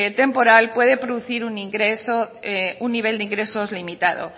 temporal puede producir un ingreso un nivel de ingresos limitado